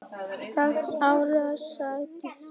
Sextán ára á Sædísi.